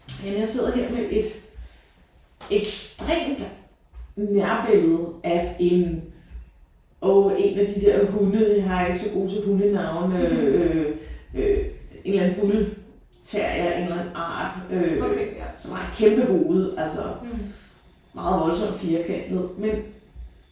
Jamen jeg sidder her med et ekstremt nærbillede af en åh en af de der hunde jeg er ikke så god til hundenavne øh en eller anden bull terrier af en eller anden art øh som har et kæmpe hoved altså meget voldsomt firkantet men